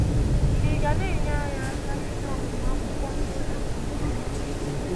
Kí n’gà enyé anyị aka ime ọmụmụ akwụkwọ n’ụlọ nke ọma?